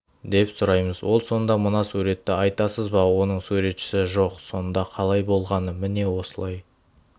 деп сұраймыз ол сонда мына суретті айтасыз ба оның суретшісі жоқ сонда қалай болғаны міне осылай